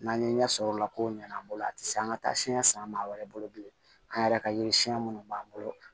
N'an ye ɲɛ sɔrɔ o la ko ɲana an bolo a te se an ga taa siɲɛ san maa wɛrɛ bolo bilen an yɛrɛ ka yiri siɲɛ minnu b'an bolo